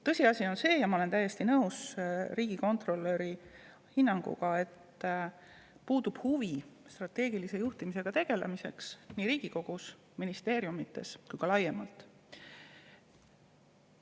Tõsiasi on see – ja ma olen siin täiesti nõus riigikontrolöri hinnanguga –, et puudub huvi strateegilise juhtimisega tegelemiseks nii Riigikogus, ministeeriumides kui ka laiemalt.